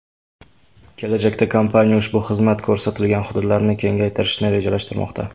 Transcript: Kelajakda kompaniya ushbu xizmat ko‘rsatilgan hududlarni kengaytirishni rejalashtirmoqda.